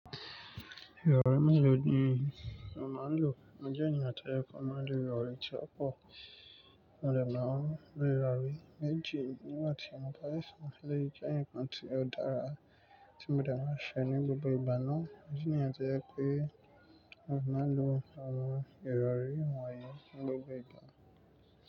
Ìrọ̀rí mẹ́ẹ̀lọ́ ni mo máa ń lò. Ó jẹ́ ènìyàn tó yẹ kó máa lò ìrọ̀rí tí ó pọ̀, mo dẹ̀ máa ń bẹ̀rẹ̀ rárá. Méjì nígbà tí mo bá sìn le jáǹkàn tí ó dára tí mo dẹ̀ máa ṣe ní gbogbo ìgbà náà. Ó jẹ́ ènìyàn tó yẹ pé ó máa ń lo àwọn ìrọ̀rí wọ̀nyí ní gbogbo ìgbà.